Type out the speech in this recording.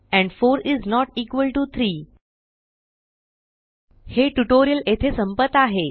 end 4 is not equal to 3 हे tutorial येथे संपत आहे